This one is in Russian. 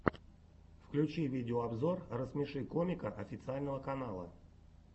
включи видеообзор рассмеши комика официального канала